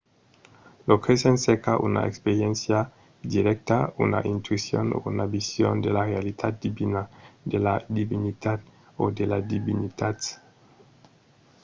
lo cresent cerca una experiéncia dirècta una intuicion o una vision de la realitat divina/de la divinitat o de las divinitats